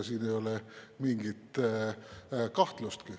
Siin ei ole mingit kahtlustki.